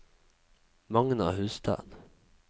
Magna Hustad